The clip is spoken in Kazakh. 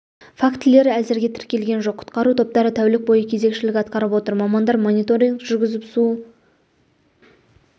фактілері әзірге тіркелген жоқ құтқару топтары тәулік бойы кезекшілік атқарып отыр мамандар мониторинг жүргізіп су